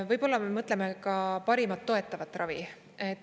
Võib-olla me mõtleme ka parimat toetavat ravi.